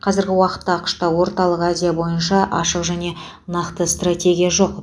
қазіргі уақытта ақш та орталық азия бойынша ашық және нақты стратегия жоқ